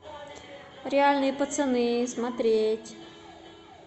реальные пацаны смотреть